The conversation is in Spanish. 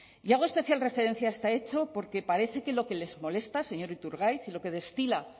y hago especial referencia a este hecho porque parece que lo que les molesta señor iturgaiz y lo que destila